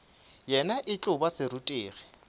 yena e tlo ba serutegi